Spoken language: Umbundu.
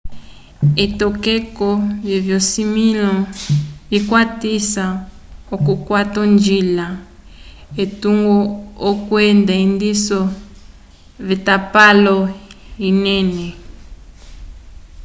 etokeko vyovisimĩlo vikwatisa k'okukwata onjila etungo kwenda endiso lyatapalo anene